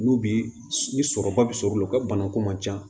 N'u bi ni sɔrɔba bɛ sɔrɔ o la u ka banako man ca